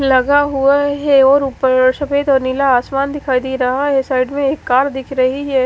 लगा हुआ है और ऊपर सफेद और नीला आसमान दिखाई दे रहा है साइड में एक कार दिख रही है।